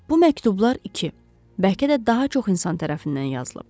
Bu məktublar iki, bəlkə də daha çox insan tərəfindən yazılıb.